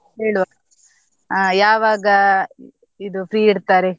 ಹೇಳುವ, ಆ ಯಾವಾಗ ಇದು free ಇರ್ತಾರೆ.